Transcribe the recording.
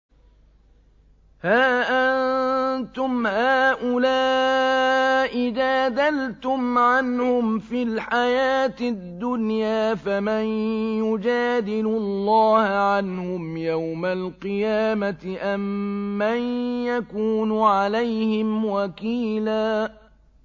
هَا أَنتُمْ هَٰؤُلَاءِ جَادَلْتُمْ عَنْهُمْ فِي الْحَيَاةِ الدُّنْيَا فَمَن يُجَادِلُ اللَّهَ عَنْهُمْ يَوْمَ الْقِيَامَةِ أَم مَّن يَكُونُ عَلَيْهِمْ وَكِيلًا